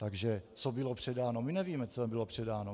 Takže co bylo předáno - my nevíme, co bylo předáno.